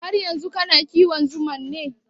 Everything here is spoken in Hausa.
Har yanzu kana kiwon zuman ne?